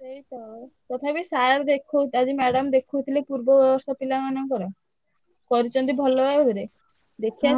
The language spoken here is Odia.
ସେଇତ sir ଦେଖ~ ଉ~ ଆଜି madam ଦେଖଉଥିଲେ ପୂର୍ବ ବର୍ଷ ପିଲାମାନଙ୍କର କରିଛନ୍ତି ଭଲ ଭାବରେ। ଦେଖିଆ